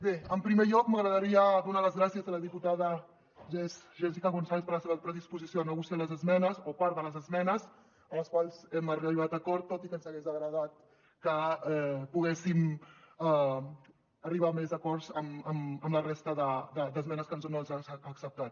bé en primer lloc m’agradaria donar les gràcies a la diputada jessica gonzález per la seva predisposició a negociar les esmenes o part de les esmenes en les quals hem arribat a acord tot i que ens hagués agradat que poguéssim arribar a més acords amb la resta d’esmenes que no ens ha acceptat